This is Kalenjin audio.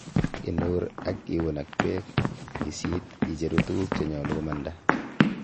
Inur ak iun ak beek, isit icheru tuguk chenyolu komanda.